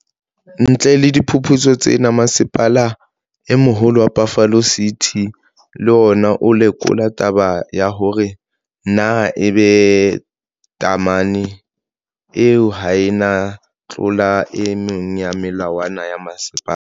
Ntle le diphuputso tsena, Mmasepala e Moholo wa Buffalo City, le ona o lekola taba ya hore na e be tamene eo ha ea tlola e meng ya melawana ya mmasepala.